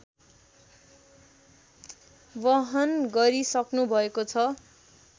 वहन गरिसक्नुभएको छ